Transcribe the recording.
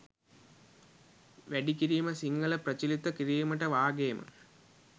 වැඩිකිරීම සිංහල ප්‍රචලිත කිරීමට වාගේම